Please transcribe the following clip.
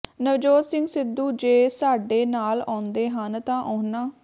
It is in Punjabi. ਨਵਜੋਤ ਸਿੰਘ ਸਿੱਧੂ ਜੇ ਸਾਡੇ ਨਾਲ ਆਉਂਦੇ ਹਨ ਤਾਂ ਉਹਨਾਂ